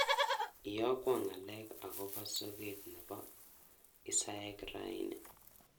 Iyokwon ngalek agoba soget nebo hisaek raini